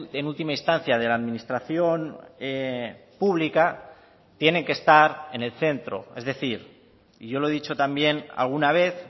en última instancia de la administración pública tienen que estar en el centro es decir y yo lo he dicho también alguna vez